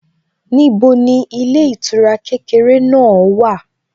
Níbo ni ilé ìtura kékeré náà wà?